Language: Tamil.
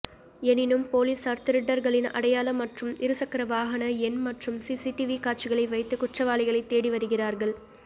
எனினும் போலீசார் திருடர்களின் அடையாளம் மற்றும் இருசக்கர வாகன எண் மற்றும் சிசிடிவி காட்சிகளை வைத்து குற்றவாளிகளை தேடி வருகிறார்கள்